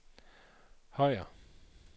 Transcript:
Højer